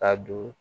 Ka don